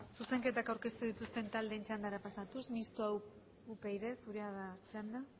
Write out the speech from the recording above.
zuzenketak aurkeztu dituzten taldeen txandara pasatuz mistoa upyd zurea da txanda